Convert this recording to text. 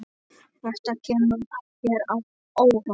Þetta kemur þér á óvart.